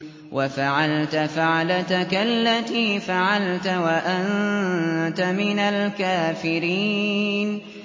وَفَعَلْتَ فَعْلَتَكَ الَّتِي فَعَلْتَ وَأَنتَ مِنَ الْكَافِرِينَ